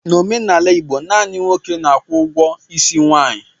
N'omenala Igbo, naanị nwoke na-akwụ ụgwọ isi nwaanyị.